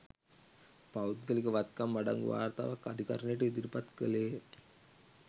පෞද්ගලික වත්කම් අඩංගු වාර්තාවක් අධිකරණයට ඉදිරිපත් කළේය